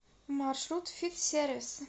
маршрут фит сервис